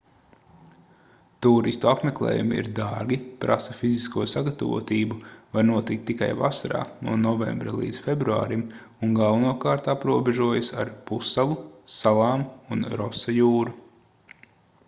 tūristu apmeklējumi ir dārgi prasa fizisko sagatavotību var notikt tikai vasarā no novembra līdz februārim un galvenokārt aprobežojas ar pussalu salām un rosa jūru